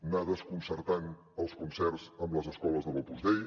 anar desconcertant els concerts amb les escoles de l’opus dei